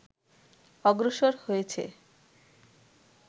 অগ্রসর হয়েছে